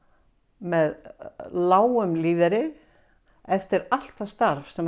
með lágum lífeyri eftir allt það starf sem